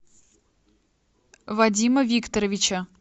вадима викторовича